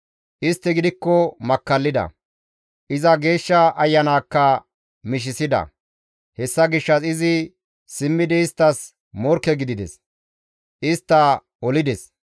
Istti gidikko makkallida; iza Geeshsha Ayanaakka mishisida hessa gishshas izi simmidi isttas morkke gidides; istta olides.